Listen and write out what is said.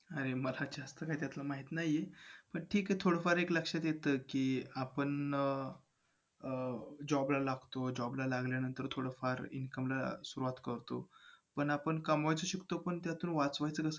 अरे मला जास्त काय त्यातलं माहित नाही, पण ठीक आहे. थोडंफार एक लक्षात येतं कि, आपण~ अं job ला लागतो. Job ला लागल्यानंतर थोडंफार income ला सुरुवात करतो. पण आपण कमवायचं शिकतो, पण त्यातून वाचवायचं कसं